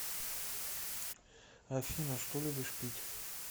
афина что любишь пить